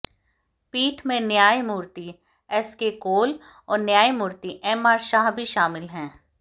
पीठ में न्यायमूर्ति ए स के कौल और न्यायमूर्ति एमआर शाह भी शामिल हैं